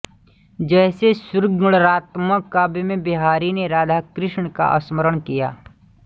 जैसे शृंङ्गारात्मक काव्य में बिहारी ने राधाकृष्ण का स्मरण किया है